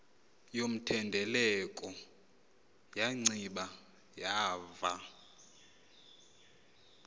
yomthendeleko wanciba wava